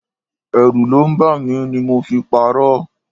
Ẹrù ló ń bà mí ni mo fi parọ.